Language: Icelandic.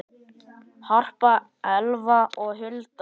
Harpa, Elfa og Hulda.